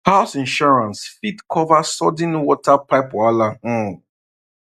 house insurance fit cover sudden water pipe wahala um